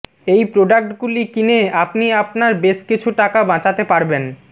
এই প্রোডাক্টগুলি কিনে আপনি আপনার বেশ কিছু টাকা বাচাতে পারবেন